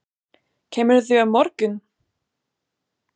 Kemurðu á morgun?